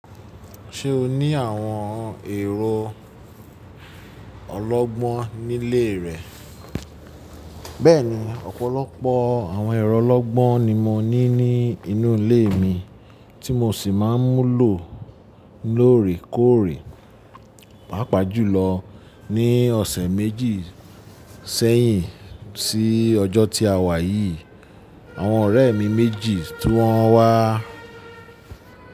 Ṣé o ní àwọn èrò ọlọ́gbọ́n nílé rẹ? Bẹ́ẹ̀ni, ọ̀pọ̀lọpọ̀ àwọn èrò ọlọ́gbọ́n ni mo ní ní inú ilé mi tí mo sì máa ń mu lò lóòrè kóòrè. Pàápàá jùlọ ní ọ̀sẹ̀ méjì sẹ́yìn sí ọjọ́ tí a wà yìí, àwọn ọ̀rẹ́ mi méjì tí wọ́n wá.